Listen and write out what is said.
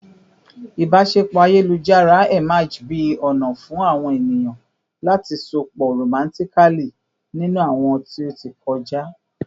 ibaṣepọ ayelujar emerged bi a ona fun awon eniyan lati sopọ romantically ninu awọn ti o ti kọja